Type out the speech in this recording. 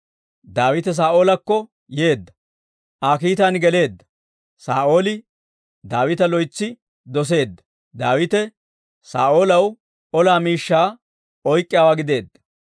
Daawite Saa'oolakko yeedda; Aa kiitan geleedda. Saa'ooli Daawita loytsi doseedda; Daawite Saa'oolaw ola miishshaa oyk'k'iyaawaa gideedda.